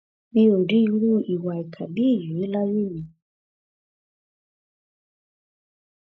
mi ò rí irú ìwà ìkà bíi èyí rí láyé mi